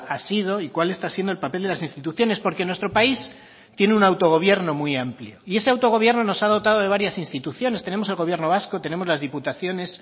ha sido y cuál está siendo el papel de las instituciones porque nuestro país tiene un autogobierno muy amplio y ese autogobierno nos ha dotado de varias instituciones tenemos el gobierno vasco tenemos las diputaciones